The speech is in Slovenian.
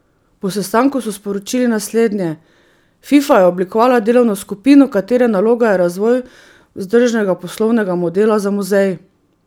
Po sestanku so sporočili naslednje: "Fifa je oblikovala delovno skupino, katere naloga je razvoj vzdržnega poslovnega modela za muzej.